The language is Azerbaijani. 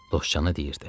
Dostcana deyirdi.